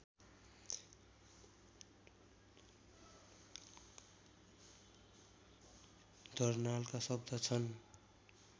दर्नालका शब्द छन्